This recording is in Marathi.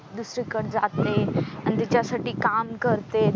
दुसरीकडे जाते आणि त्याच्यासाठी काम करते.